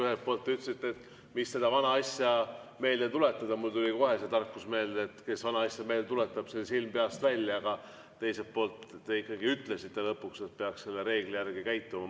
Ühelt poolt te ütlesite, et mis seda vana asja meelde tuletada – mul tuli kohe see tarkus meelde, et kes vana asja meelde tuletab, sel silm peast välja –, aga teiselt poolt te ikkagi ütlesite lõpuks, et peaks selle reegli järgi käituma.